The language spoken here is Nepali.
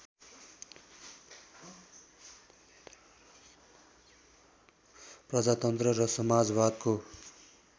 प्रजातन्त्र र समाजवादको